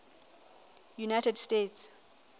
united states